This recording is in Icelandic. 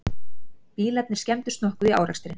Bílarnir skemmdust nokkuð í árekstrinum